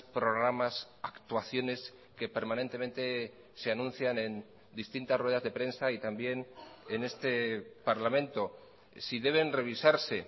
programas actuaciones que permanentemente se anuncian en distintas ruedas de prensa y también en este parlamento si deben revisarse